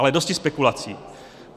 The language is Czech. Ale dosti spekulací.